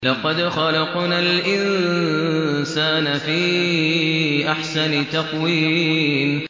لَقَدْ خَلَقْنَا الْإِنسَانَ فِي أَحْسَنِ تَقْوِيمٍ